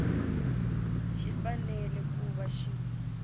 xi fanele ku va xi